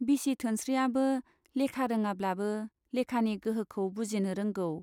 बिसि धोनस्रीयाबो लेखा रोङाब्लाबो लेखानि गोहोखौ बुजिनो रोंगौ।